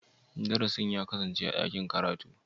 Darasin ya kasance a dakin karatu?